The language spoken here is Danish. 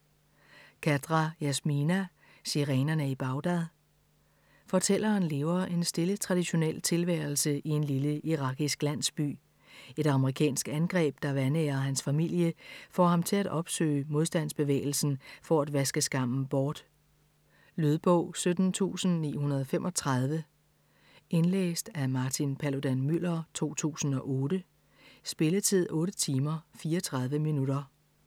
Khadra, Yasmina: Sirenerne i Bagdad Fortælleren lever en stille traditionel tilværelse i en lille irakisk landsby. Et amerikansk angreb, der vanærer hans familie, får ham til at opsøge modstandsbevægelsen for at vaske skammen bort. Lydbog 17935 Indlæst af Martin Paludan-Müller, 2008. Spilletid: 8 timer, 34 minutter.